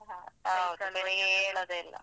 ಹೌದು ಬೆಳಿಗ್ಗೆ ಏಳುದೇ ಇಲ್ಲ.